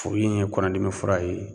Furu in ye kɔnɔdimi fura ye